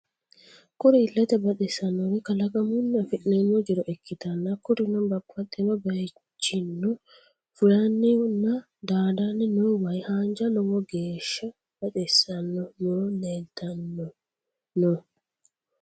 Kuri illete baxissannori kalaqamunni afi'neemmo jiro ikkitanna kurino babaxino bayichinno fulanni nna daadanni noo way haanja lowo geeshsa baxissanno muro leeltanni no.